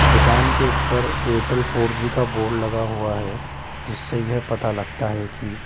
दुकान के ऊपर एयरटेल फोर जी का बोर्ड लगा हुआ है जिससे यह पता लगता है कि --